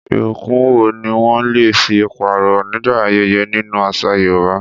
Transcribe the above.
Ìbùkún wo ni wọ́n lè fi pààrọ̀ nígbà ayẹyẹ nínú àṣà Yorùbá?